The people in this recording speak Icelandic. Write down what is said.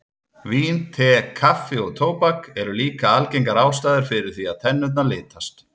Vín, te, kaffi og tóbak eru líka algengar ástæður fyrir því að tennurnar litast.